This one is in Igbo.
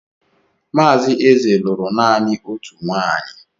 Mazi Eze lụrụ nanị otú nwanyị.